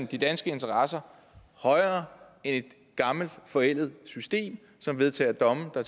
de danske interesser højere end et gammelt forældet system som vedtager domme der